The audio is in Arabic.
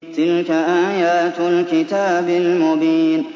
تِلْكَ آيَاتُ الْكِتَابِ الْمُبِينِ